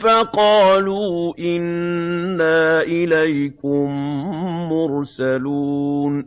فَقَالُوا إِنَّا إِلَيْكُم مُّرْسَلُونَ